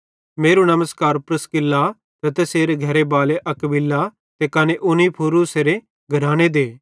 मेरू नमस्कार प्रिस्का ते तैसेरे घरे बाले अक्विला ते कने उनेसिफुरूसेरे घराने दे